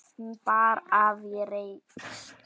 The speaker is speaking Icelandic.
Hún bar af í reisn.